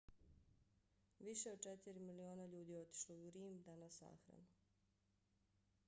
više od četiri miliona ljudi otišlo je u rim da na sahranu